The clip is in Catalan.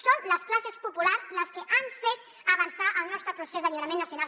són les classes populars les que han fet avançar el nostre procés d’alliberament nacional